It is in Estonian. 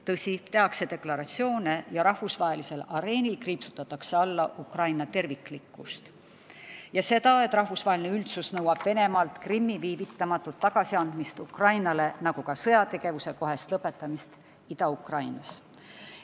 Tõsi, tehakse deklaratsioone ja rahvusvahelisel areenil kriipsutatakse alla Ukraina terviklikkust ja seda, et rahvusvaheline üldsus nõuab Venemaalt Krimmi viivitamatut tagasiandmist Ukrainale, nagu ka sõjategevuse kohest lõpetamist Ida-Ukrainas.